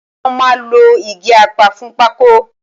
Wọ́n máa lo igi apá fún pákó